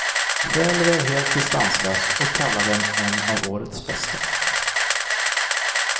Själv är jag helt distanslös och kallar den en av årets bästa.